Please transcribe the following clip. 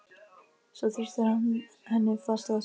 Svo þrýstir hann henni fast að sér.